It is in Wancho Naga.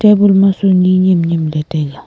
table ma su ni nem nem ley taiga.